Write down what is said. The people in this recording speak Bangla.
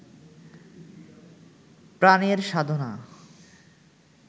প্রাণের সাধনা